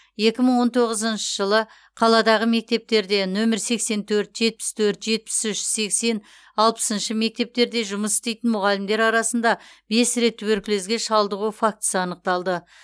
екі мың он тоғызыншы жылы қаладағы мектептерде нөмірі сексен төрт жетпіс төрт жетпіс үш сексен алпысыншы мектептер жұмыс істейтін мұғалімдер арасында бес рет туберкулезге шалдығу фактісі анықталды